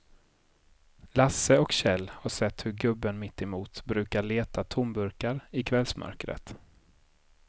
Lasse och Kjell har sett hur gubben mittemot brukar leta tomburkar i kvällsmörkret.